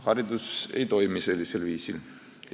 Haridus ei toimi sellisel viisil.